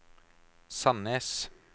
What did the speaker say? Sandnes